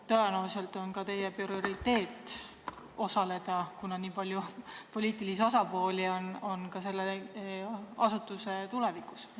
Tõenäoliselt on ka teie prioriteet aruteludel osaleda, kuna selle asutuse tulevikuga on seotud nii palju poliitilisi osapooli.